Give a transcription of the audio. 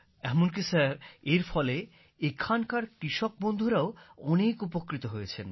এমনকি স্যার এর ফলে এখানকার কৃষক বন্ধুরাও অনেক উপকৃত হয়েছেন